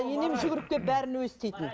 енем жүгіріп келіп бәрін өзі істейтін